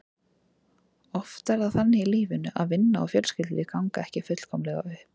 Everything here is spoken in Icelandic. Oft er það þannig í lífinu að vinna og fjölskyldulíf ganga ekki fullkomlega upp.